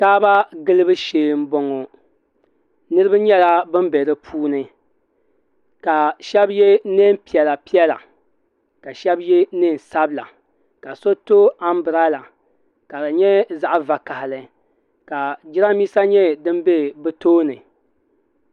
Kaaba gilibu shee n bɔŋo niriba nyɛla bin bɛ di puuni ka shɛba yɛ niɛn piɛla piɛla ka shɛba yɛ niɛn sabila ka so to ambirala ka di nyɛ zaɣa vakahili ka jiranbiisa nyɛ din bɛ bi tooni.